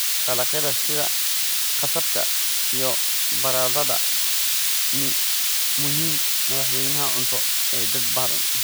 Dalagyada sida qasabka iyo baradhada ni muhiim madaxweynaha cunto ee dad badan.